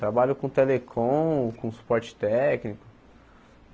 Trabalho com telecom, com suporte técnico.